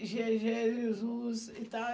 Gê e gê é Jesus e tal.